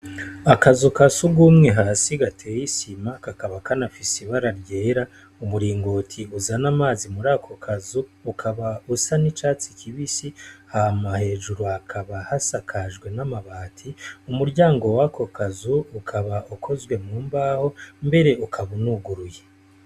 Akazu ka sugumwe hasi gateyisima kakaba kanafise ibararyera umuringoti uza n'amazi muri ako kazu ukaba usa n'icatsi kibisi hamahejuru akaba hasakajwe n'amabati umuryango wakokazu ukaba ukozwe mu mbaho mbere ukabaunuguruye.